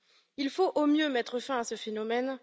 Il faut, au mieux, mettre fin à ce phénomène.